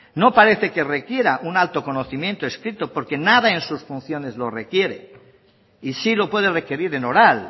no parece que requiera un alto conocimiento escrito porque nada en sus funciones lo requiere y sí lo puede requerir en oral